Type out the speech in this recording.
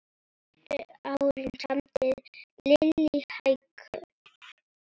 Síðustu árin samdi Lillý hækur.